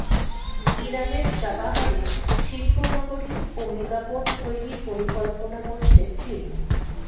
ইরানের চাবাহারে শিল্পনগরী ও মেগাপোর্ট তৈরির পরিকল্পনা করছে চীন